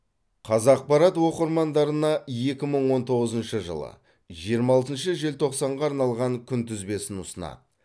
қазақпарат оқырмандарына екі мың он тоғызыншы жылғы жиырма алтыншы желтоқсанға арналған күнтізбесін ұсынады